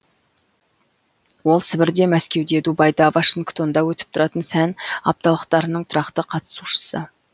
ол сібірде мәскеуде дубайда вашингтонда өтіп тұратын сән апталықтарының тұрақты қатысушысы